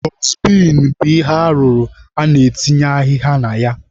Dọstbin bụ ihe arụrụ a na-etinye ahịhịa na ya.